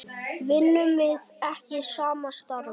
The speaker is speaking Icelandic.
Vinnum við ekki sama starfið?